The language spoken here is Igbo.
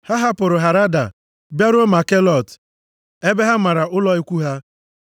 Ha hapụrụ Harada bịaruo Makhelot ebe ha mara ụlọ ikwu ha.